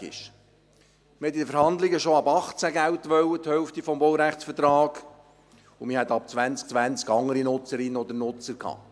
Man wollte in den Verhandlungen schon ab 2018 Geld – die Hälfte des Baurechtszinses –, und ab 2020 hätte man andere Nutzerinnen und Nutzer gehabt.